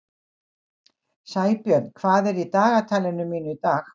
Sæbjörn, hvað er í dagatalinu mínu í dag?